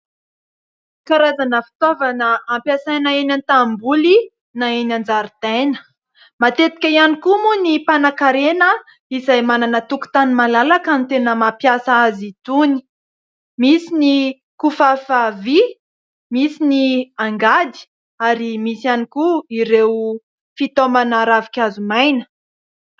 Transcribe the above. Karazana fitaovana ampiasaina eny an-tanimboly na eny an-jaridaina. Matetika ihany koa moa ny mpanan-karena izay manana tokontany malalaka no tena mampiasa azy itony : misy ny kifafa vy, misy ny angady ary misy ihany koa ireo fitaomana ravinkazo maina.